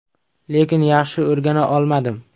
Lekin yaxshi o‘rgana olmadim.